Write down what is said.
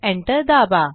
enter दाबा